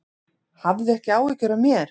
Hafðu ekki áhyggjur af mér.